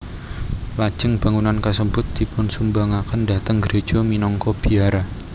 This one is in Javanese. Lajeng bangunan kasebut dipunsumbangaken dhateng gréja minangka biara